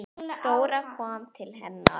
Dóra kom til hennar.